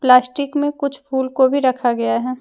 Plastic में कुछ फूल को भी रखा गया है।